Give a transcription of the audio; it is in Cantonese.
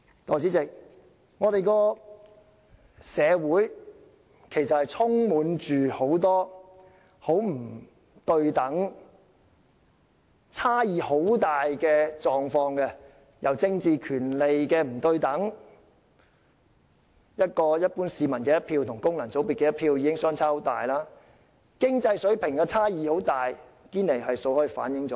代理主席，我們的社會充斥着很多不對等、差異甚大的狀況，政治權利不對等，一般市民的一票與功能界別的一票已經相差很大；經濟水平上的巨大差異，亦已從堅尼系數反映出來。